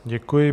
Děkuji.